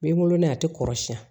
N bɛ n wolo nɛ a tɛ kɔrɔsiya